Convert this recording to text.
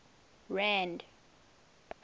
rand